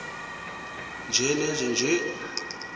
nje nenje nje